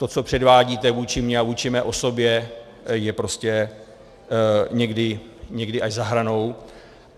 To, co předvádíte vůči mě a vůči mé osobě, je prostě někdy až za hranou.